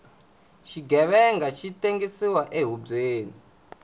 xighevenga xi tengsiwa ehubyeni